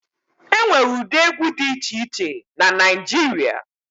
E nwere ụdị egwu dị iche iche na Naịjirịa.